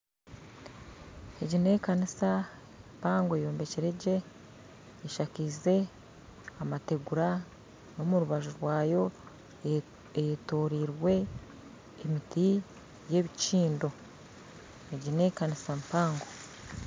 Egi n'ekanisa mpango eyombekyire gye eshakize amateegura n'omurubaju rwayo eyetoreire emiti y'ebikindo egi n'ekanisa mpango